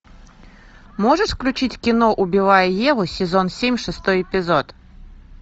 можешь включить кино убивая еву сезон семь шестой эпизод